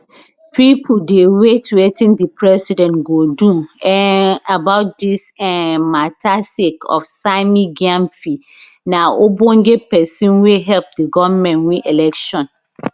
pipo dey wait wetin di president go do um about dis um mata sake of sammy gyamfi na ogbonge pesin wey help di goment win election